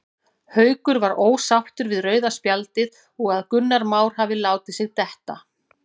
Haukur var ósáttur við rauða spjaldið og að Gunnar Már hafi látið sig detta.